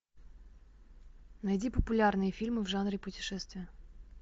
найди популярные фильмы в жанре путешествия